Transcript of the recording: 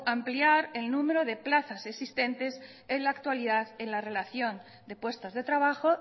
ampliar el número de plazas existentes en la actualidad en la relación de puestos de trabajo